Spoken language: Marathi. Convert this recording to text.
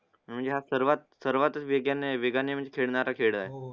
म्हणजे हा सर्वात वेगेने वागणे म्हणजे खेळणारा खेळ आहे